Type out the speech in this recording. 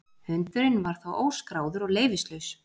Hundurinn var þá óskráður og leyfislaus